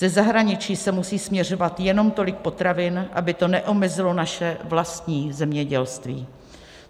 Ze zahraničí sem musí směřovat jenom tolik potravin, aby to neomezilo naše vlastní zemědělství.